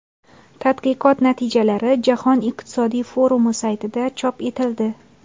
Tadqiqot natijalari Jahon iqtisodiy forumi saytida chop etildi .